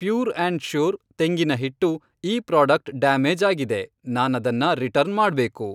Pure and sure ತೆಂಗಿನ ಹಿಟ್ಟು ಈ ಪ್ರಾಡಕ್ಟ್ ಡ್ಯಾಮೇಜ್ ಆಗಿದೆ, ನಾನದನ್ನ ರಿಟರ್ನ್ ಮಾಡ್ಬೇಕು.